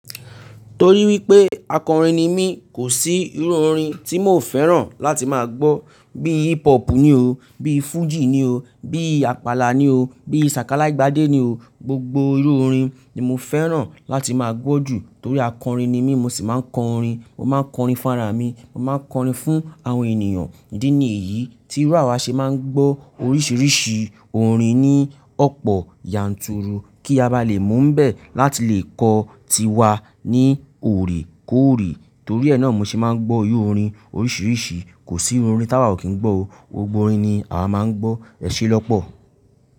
Torí wípé akọrin ni mí, kò sí irú orin tí mi ò fẹ́ràn láti máa gbọ́. Bí hip hop ni o, bí fújì ni o, bí àpàlà ni o, bí sàkálágbàdé ni o. Gbogbo irú orin ni mo fẹ́ràn láti máa gbọ́ jù torí akọrin ni mí, mo sì máa ń kọ orin, mo máa ń kọ orin fún ara mi, mo máa ń kọ orin fún àwọn ènìyàn. Ìdí ní èyí tí irú àwa ṣe máa ń gbọ́ oríṣiríṣi orin ní ọ̀pọ̀ yanturu kí a bá lè mú nbẹ̀ láti lè kọ tiwa ní òrè kó òrè torí ẹ́ náà mo ṣe máa ń gbọ́ irú orin oríṣiríṣi. Kò sí orin táwà o kí ń gbọ́ o, gbogbo orin ni àwa máa ń gbọ́, èṣe lọpọ̀